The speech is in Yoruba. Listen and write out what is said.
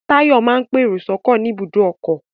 Táyọ̀ máa ń pèrò sọ́kọ̀ ní ibùdó ọkọ̀